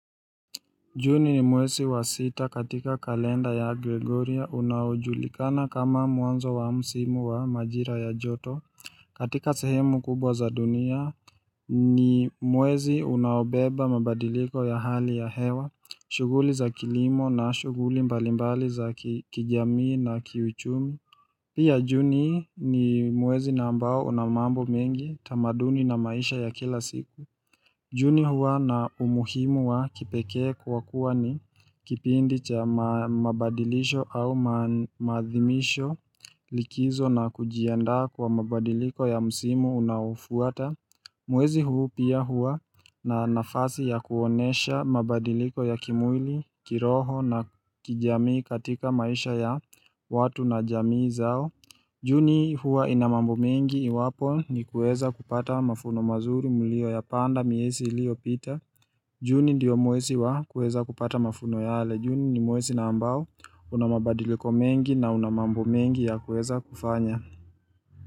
Juni ni mwezi wa sita katika kalenda ya Gregoria unaojulikana kama mwanzo wa msimu wa majira ya joto katika sehemu kubwa za dunia ni mwezi unaobeba mabadiliko ya hali ya hewa, shughuli za kilimo na shughuli mbalimbali za kijamii na kiuchumi. Pia juni ni mwezi na ambao una mambo mengi tamaduni na maisha ya kila siku. Juni huwa na umuhimu wa kipekee kwa kuwa ni kipindi cha mabadilisho au mahadhimisho, likizo na kujianda kwa mabadiliko ya msimu unaofuata Mwezi huu pia huwa na nafasi ya kuonyesha mabadiliko ya kimwili, kiroho na kijamii katika maisha ya watu na jamii zao Juni huwa ina mambo mengi iwapo ni kueza kupata mavuno mazuri mliyoyapanda miezi iliyopita Juni ndio mwezii wa kueza kupata mavuno yale. Juni ni mwezi na ambao una mabadiliko mengi na una mambo mengi ya kueza kufanya.